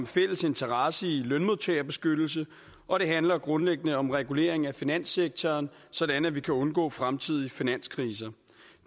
fælles interesse i lønmodtagerbeskyttelse og det handler grundlæggende om regulering af finanssektoren sådan at vi kan undgå fremtidige finanskriser